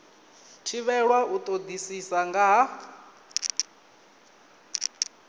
thivhelwa u todisisa nga ha